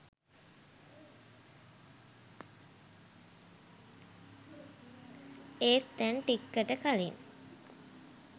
ඒත් දැන් ටික්කට කලින්